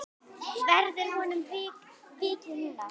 Verður honum vikið núna?